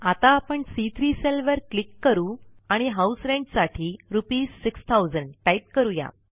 आता आपण सी3 सेलवर क्लिक करा आणि हाऊस रेंट साठी रुपीस 6000 टाईप करूया